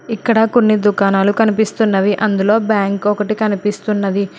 ఇక్కడ కొన్ని దుకాణాలు కనిపిస్తున్నవి అందులో బ్యాంక్ ఒకటి కనిపిస్తున్నది.